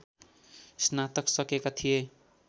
स्नातक सकेका थिए